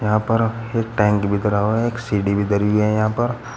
यहां पर एक टैंक धरा हुआ है और एक सीढ़ी भी धरी हुई है यहाँ पर--